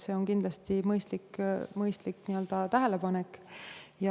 See on kindlasti mõistlik tähelepanek.